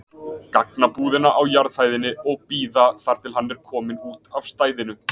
gagnabúðina á jarðhæðinni og bíða þar til hann er kominn út af stæðinu.